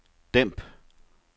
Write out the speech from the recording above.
dæmp